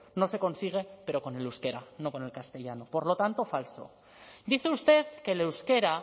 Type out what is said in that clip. no se consigue pero con el euskera no con el castellano por lo tanto falso dice usted que el euskera